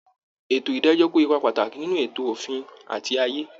Ètò ìdájọ́ kó ipa pàtàkì nínú ẹ̀tọ́ òfin àti ààyè